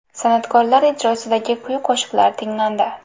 San’atkorlar ijrosidagi kuy-qo‘shiqlar tinglandi.